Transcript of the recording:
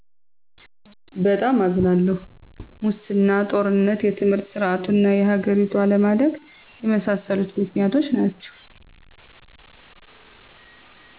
በጣም አዝናለሁ!! ሙሰና; ጦርነት; የትምህርት ሰርዓቱና የሀገሪቱ አለማደግ የመሣሠሉት ምክንያቶች ናቸዉ